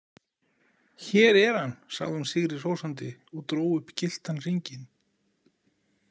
Hér er hann, sagði hún sigri hrósandi og dró upp gylltan hringinn.